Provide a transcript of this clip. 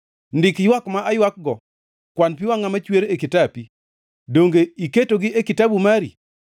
Ndik ywak ma aywakgo kwan pi wangʼa machwer e kitapi, donge iketogi e kitabu mari?